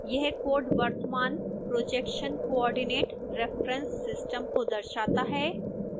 यह कोड वर्तमान projection coordinate reference system को दर्शाता है